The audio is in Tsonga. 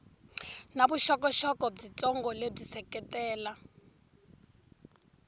na vuxokoxoko byitsongo lebyi seketela